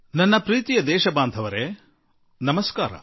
ನನ್ನೊಲವಿನ ದೇಶವಾಸಿಗಳೇ ನಮಸ್ಕಾರ